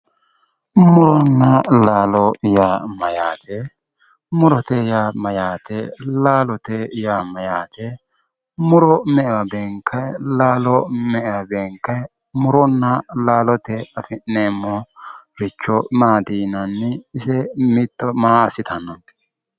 muronna laalo yaa mayyaate? murote yaa mayyaate? laalote yaa mayyaate muro me"ewa beenkanni? laalo me"ewa beenkanni? muronna laalotewiinni afi'neemmoricho maati yinayi? ise mitto maa assitannonke?